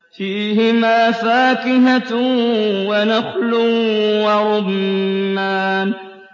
فِيهِمَا فَاكِهَةٌ وَنَخْلٌ وَرُمَّانٌ